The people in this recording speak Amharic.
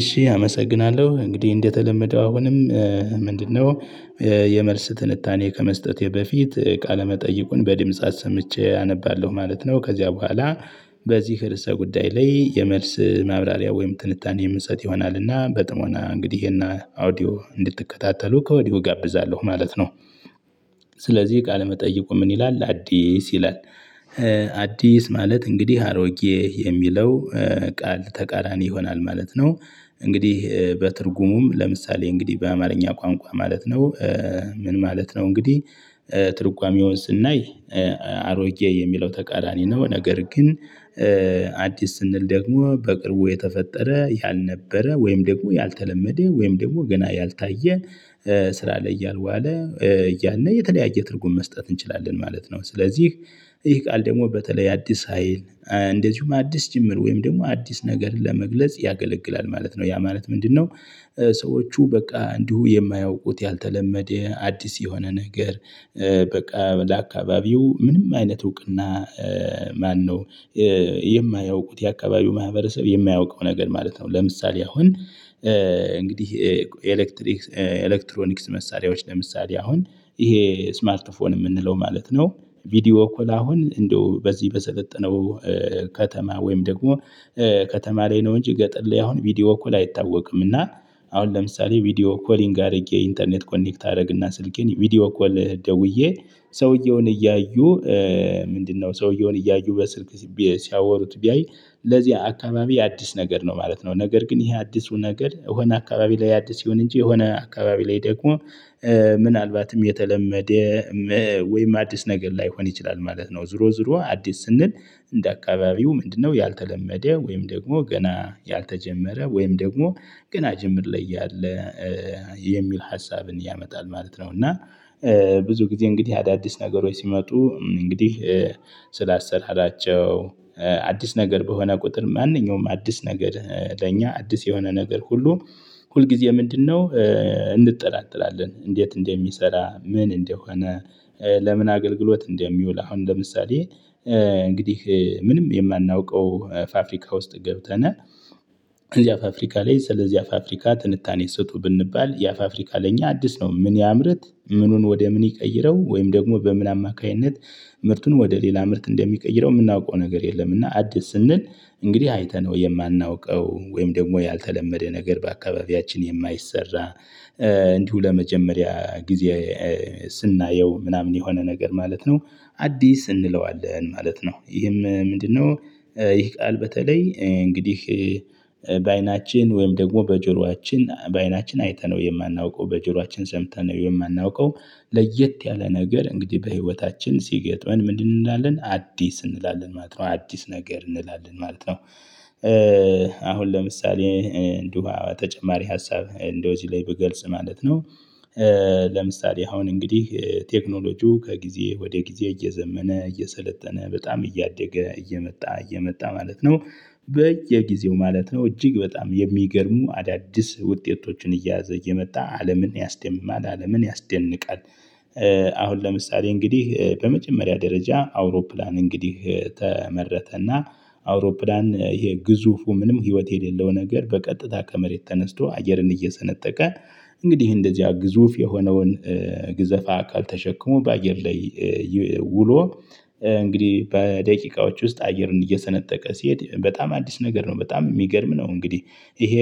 እሺ አመሰግናለሁ እንግዲህ እንደተለመደው አሁንም ምንድነው የመልስ ትንታኔ ከመስጠቴ በፊት ቃለመጠይቁን በድምጽ አሰምቼ አነባለሁ ማለት ነው። ከዚያ በኋላ በዚህ ርዕሰ ጉዳይ ላይ የመልስ ማብራሪያ ወይም ትንታኔ የምሰጥ ይሆናልና በጥሞና እንግዲህ ይሄን አውዲዮ እንድትከታተሉ ከወዲሁ እጋብዛለሁ ማለት ነው። ስለዚህ ቃለመጠይቁ ምን ይላል አዲስ ይላል? አዲስ ማለት እንግዲህ አሮጌ የሚለው ቃል ተቃራኒ ይሆናል ማለት ነው። እንግዲህ በትርጉሙም ለምሳሌ እንግዲህ በአማርኛ ቋንቋ ማለት ነው። ምን ማለት ነው እንግዲህ? ትርጓሜውን ስናይ አሮጌ የሚለው ተቃራኒ ነው ነገር ግን። አዲስ ስንል ደግሞ በቅርቡ የተፈጠረ ያልነበረ ወይም ደግሞ ያልተለመደ ወይም ደግሞ ገና ያልታየ ስራ ላይ ያልዋለ ያኔ የተለያየ ትርጉም መስጠት እንችላለን ማለት ነው። ስለዚህ ይህ ቃል ደግሞ በተለይ አዲስ ሀይል እንደዚሁም አዲስ ጅምር ወይም ደግሞ አዲስ ነገር ለመግለጽ ያገለግላል ማለት ነው። ያ ማለት ምንድነው? ሰዎቹ በቃ እንዲሁ የማያውቁት ያልተለመደ አዲስ የሆነ ነገር። በቃ ለአካባቢው ምንም አይነት እውቅና ማነው? የማያውቁት የአካባቢው ማህበረሰብ የማያውቀው ነገር ማለት ነው። ለምሳሌ አሁን እንግዲህ የኤሌክትሪክ ኤሌክትሮኒክስ መሳሪያዎች ለምሳሌ አሁን ይሄ ስማርት ፎን የምንለው ማለት ነው። ቪዲዮ እኮ አሁን እንደው በዚህ በሰለጠነው ከተማ ወይም ደግሞ ከተማ ላይ ነው እንጂ ገጠር ላይ አሁን ቪዲዮ ኮል አይታወቅም። እና አሁን ለምሳሌ ቪዲዮ ኮሊንግ አድርጌ ኢንተርኔት ኮኔክት አደረግና ስልኬን ቪዲዮ ኮል ደውዬ ሰውየውን እያዩ ምንድነው ሰውየውን እያዩ በስልክ ሲያወሩት ቢያይ ለዚህ አካባቢ አዲስ ነገር ነው ማለት ነው። ነገር ግን ይሄ አዲሱ ነገር የሆነ አካባቢ ላይ አዲስ ይሁን እንጂ የሆነ አካባቢ ላይ ደግሞ ምናልባትም የተለመደ ወይም አዲስ ነገር ላይሆን ይችላል ማለት ነው። ዞሮ ዞሮ አዲስ ስንል እንደ አካባቢው ምንድነው ያልተለመደ ወይም ደግሞ ገና ያልተጀመረ ወይም ደግሞ ገና ጅምር ላይ ያለ የሚል ሀሳብን ያመጣል ማለት ነው። እና ብዙ ጊዜ እንግዲህ አዳዲስ ነገሮች ሲመጡ እንግዲህ ስላሰራራቸው አዲስ ነገር በሆነ ቁጥር ማንኛውም አዲስ ነገር ለእኛ አዲስ የሆነ ነገር ሁሉ ሁልጊዜ ምንድነው እንጠራጠራለን እንዴት እንደሚሰራ ምን እንደሆነ? ለምን አገልግሎት እንደሚውል አሁን ለምሳሌ እንግዲህ ምንም የማናውቀው ፋፍሪካ ውስጥ ገብተን እዚያ ፋፍሪካ ላይ ስለዚያ ፈፍሪካ ትንታኔ ስጡ ብንባል ያ ፋፍሪካ ለኛ አዲስ ነው። ምን ያምርት ምኑን ወደ ምን ይቀይረው ወይም ደግሞ በምን አማካይነት? ምርቱን ወደ ሌላ ምርት እንደሚቀይረው የምናውቀው ነገር የለምና። አዲስ ስንል እንግዲህ አይተነው የማናውቀው ወይም ደግሞ ያልተለመደ ነገር በአካባቢያችን የማይሰራ እንዲሁ ለመጀመሪያ ጊዜ ስናየው ምናምን የሆነ ነገር ማለት ነው። አዲስ እንለዋለን ማለት ነው ይህም ምንድነው? ይህ ቃል በተለይ እንግዲህ በአይናችን ወይም ደግሞ በጆሮአችን በአይናችን አይተነው የማናውቀው በጆሮአችን ሰምተነው የማናውቀው። ለየት ያለ ነገር እንግዲህ በህይወታችን ሲገጥመን ምን እንላለን አዲስ እንላለን ማለት ነው። አዲስ ነገር እንላለን ማለት ነው። አሁን ለምሳሌ እንዲሁ ተጨማሪ ሀሳብ እንደው እዚህ ላይ ብገልጽ ማለት ነው። ለምሳሌ አሁን እንግዲህ ቴክኖሎጂው ከጊዜ ወደ ጊዜ እየዘመነ እየሰለጠነ በጣም እያደገ እየመጣ እየመጣ ማለት ነው። በየጊዜው ማለት ነው እጅግ በጣም የሚገርሙ አዳዲስ ውጤቶችን እየያዘ እየመጣ አለምን ያስደምማል አለምን ያስደንቃል። አሁን ለምሳሌ እንግዲህ ለመጀመሪያ ደረጃ አውሮፕላን እንግዲህ ተመረተና አውሮፕላን ይሄ ግዙፉ ምንም ህይወት የሌለው ነገር በቀጥታ ከመሬት ተነስቶ አየርን እየሰነጠቀ እንግዲህ እንደዚያ ግዙፍ የሆነውን ግዘፋ አካል ተሸክሞ በአየር ላይ ውሎ እንግዲህ በደቂቃዎች ውስጥ አየርን እየሰነጠቀ ሲሄድ በጣም አዲስ ነገር ነው። በጣም የሚገርም ነው እንግዲህ ይሄ